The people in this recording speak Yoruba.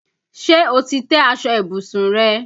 Ṣé o ti tẹ́ aṣọ ìbùsùn rẹ?